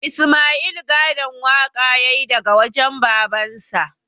Isma'il gadon waƙa ya yi daga wajen babansa